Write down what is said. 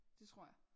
Det tror jeg